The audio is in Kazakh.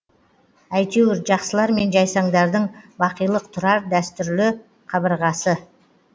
әйтеуір жақсылар мен жайсаңдардың бақилық тұрар дәртүрлі қабырғасы